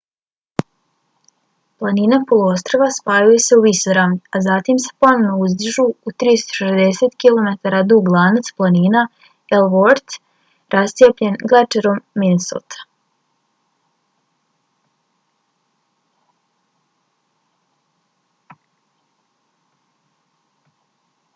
planine poluostrva spajaju se u visoravni a zatim se ponovo izdižu u 360 km dug lanac planina ellsworth rascijepljen glečerom minnesota